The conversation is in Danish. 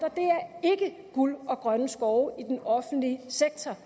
at guld og grønne skove i den offentlige sektor